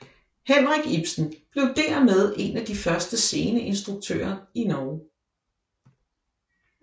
Henrik Ibsen blev dermed en af de første sceneinstruktører i Norge